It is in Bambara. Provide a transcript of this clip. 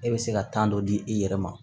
E bɛ se ka dɔ di i yɛrɛ ma